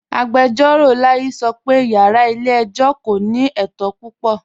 Agbẹjọro Layi sọ́ pẹ̀ yàrá ilẹ̀-ẹ̀jọ̀ kò ní ètò púpọ̀.